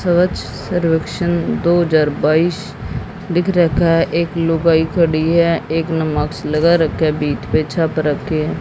स्वच्छ सर्वेक्षण दो हजार बाइस लिख रखा है एक लुगाई खड़ी है एक ने मास्क लगा रखा है छाप रखी--